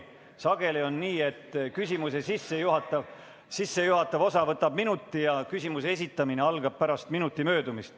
Sageli on nii, et küsimuse sissejuhatav osa võtab minuti ja küsimuse esitamine algab pärast minuti möödumist.